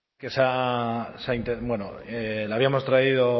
mikrofonoa itzalita hitz egin du que se ha bueno la habíamos traído